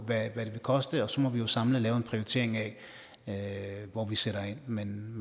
af hvad det vil koste og så må vi jo samlet lave en prioritering af af hvor vi sætter ind men